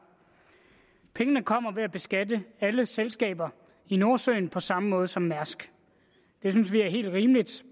pengene kommer ved at beskatte alle selskaber i nordsøen på samme måde som mærsk vi synes det er helt rimeligt